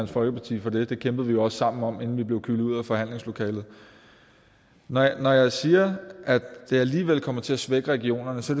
folkeparti for det det kæmpede vi jo også sammen om inden vi blev kylet ud af forhandlingslokalet når jeg siger at det alligevel kommer til at svække regionerne så